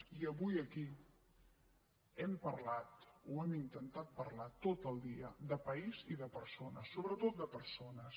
i avui aquí hem parlat o hem intentat parlar tot el dia de país i de persones sobretot de persones